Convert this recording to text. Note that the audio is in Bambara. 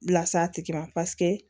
Las'a tigi ma paseke